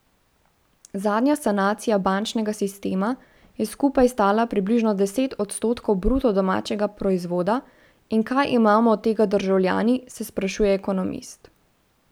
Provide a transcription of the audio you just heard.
Zadnja sanacija bančnega sistema je skupaj stala približno deset odstotkov bruto domačega proizvoda, in kaj imamo od tega državljani, se sprašuje ekonomist.